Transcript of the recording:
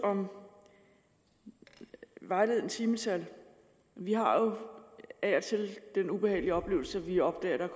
om vejledende timetal vi har jo af og til den ubehagelige oplevelse at vi opdager at der